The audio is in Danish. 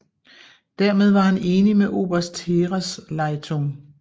Dermed var han enig med Oberste Heeresleitung